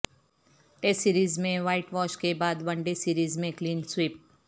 test series میں whitewash کے بعد ون ڈے سریز میں کلین سویپ